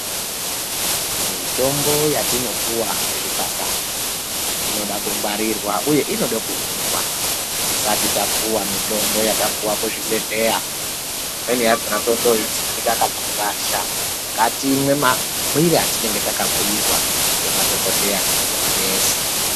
Mitombo yatinopuwa kuzvipatara, inoda kungwarirwa uye inodo mumwiwa. Tisati tapuwa mitombo yatapuwa kuzvibhedhleya, imweni yakona totoitsipika kana kurasha. Ngatimwe mamwire atinenge takabhuyirwa ngemadhokodheya kana ngemanesi.